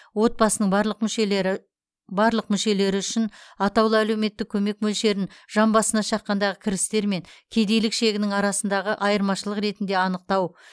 отбасының барлық мүшелері барлық мүшелері үшін атаулы әлеуметтік көмек мөлшерін жан басына шаққандағы кірістер мен кедейлік шегінің арасындағы айырмашылық ретінде анықтау